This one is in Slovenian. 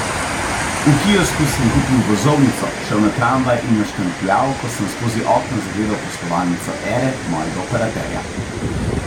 V kiosku sem kupil vozovnico, šel na tramvaj in jo štempljal, ko sem skozi okno zagledal poslovalnico Ere, mojega operaterja.